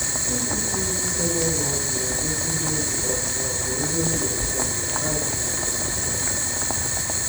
Isi siri ike n’ụlọ azụ na-egosi mmebi um ma ọ bụ nri e nyere um azụ karịrị akarị.